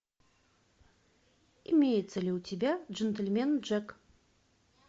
имеется ли у тебя джентельмен джек